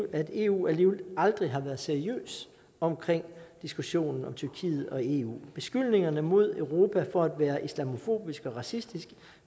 at eu alligevel aldrig har været seriøs omkring diskussionen om tyrkiet og eu beskyldningerne mod europa for at være islamofobisk og racistisk